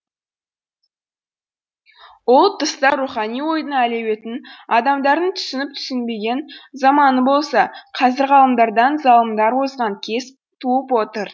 ол тұста рухани ойдың әлеуетін адамдардың түсініп түйсінбеген заманы болса қазір ғалымдардан залымдар озған кез туып отыр